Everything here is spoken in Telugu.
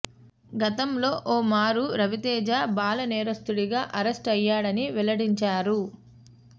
గతంలో ఓ మారు రవితేజ బాల నేరస్తుడిగా అరెస్ట్ అయ్యాడని వెల్లడించారు